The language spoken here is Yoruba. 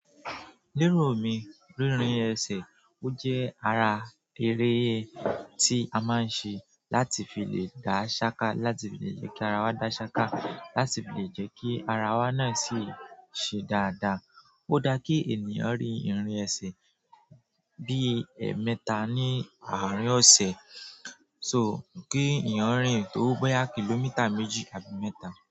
Ní rò mí, rírin ẹsẹ̀ ó jẹ́ ara eré tí a máa ń ṣe láti fi lè dá ṣáká, láti fi lè jẹ́ kí ara wa dá ṣáká, láti fi lè jẹ́ kí ara wa náà sì ṣe dáadáa. Ó dá kí ènìyàn rín ìrìn ẹsẹ̀ bí i ẹẹmẹta ní àárín ọ̀sẹ̀. So kí èyàn rìn tó boyà kìlómítà méjì àbí mẹ́ta.